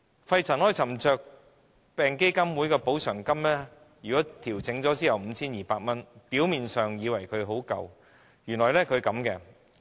肺塵埃沉着病補償基金委員會的補償金調整後的金額是 5,200 元，表面上看似很足夠，但實情卻不是。